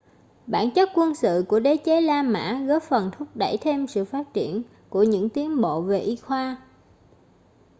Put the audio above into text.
bản chất quân sự của đế chế la mã góp phần thúc đẩy thêm sự phát triển của những tiến bộ về y khoa